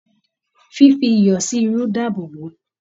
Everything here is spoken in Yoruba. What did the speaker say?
Fífi iyọ sí irú dáàbò bo.